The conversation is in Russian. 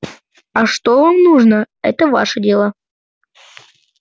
а что вам нужно это ваше дело